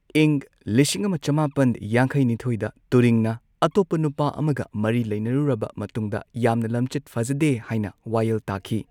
ꯏꯪꯪ ꯂꯤꯁꯤꯡ ꯑꯃ ꯆꯃꯥꯄꯟ ꯌꯥꯡꯈꯩ ꯅꯤꯊꯣꯏꯗ ꯇꯨꯔꯤꯡꯅ ꯑꯇꯣꯞꯄ ꯅꯨꯄꯥ ꯑꯃꯒ ꯃꯔꯤ ꯂꯩꯅꯔꯨꯔꯕ ꯃꯇꯨꯡꯗ, ꯌꯥꯝꯅ ꯂꯝꯆꯠ ꯐꯖꯗꯦ ꯍꯥꯢꯅ ꯋꯥꯌꯦꯜ ꯇꯥꯈꯤ꯫